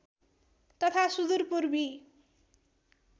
तथा सुदुर पूर्वी